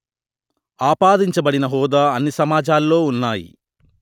ఆపాదించబడిన హోదా అన్ని సమాజాల్లో ఉన్నాయి